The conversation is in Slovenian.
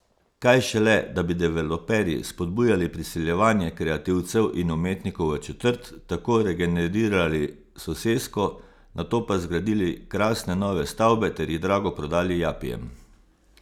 Kaj šele, da bi developerji spodbujali priseljevanje kreativcev in umetnikov v četrt, tako regenerirali sosesko, nato pa zgradili krasne nove stavbe, ter jih drago prodali japijem.